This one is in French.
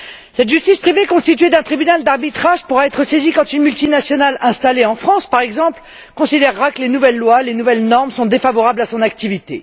Cette justice privée est constituée d'un tribunal d'arbitrage qui pourra être saisi quand une multinationale installée en France, par exemple, considérera que les nouvelles lois, les nouvelles normes sont défavorables à son activité.